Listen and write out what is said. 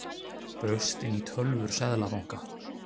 Braust inn í tölvur seðlabanka